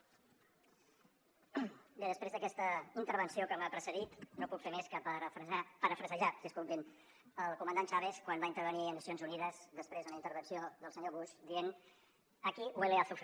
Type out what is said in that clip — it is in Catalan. bé després d’aquesta intervenció que m’ha precedit no puc fer més que parafrasejar el comandant chávez quan va intervenir a nacions unides després d’una intervenció del senyor bush dient aquí huele a azufre